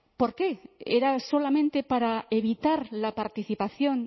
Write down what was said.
por qué era solamente para evitar la participación